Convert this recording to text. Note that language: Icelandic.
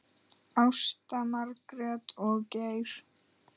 Ásta, Margrét og Geir.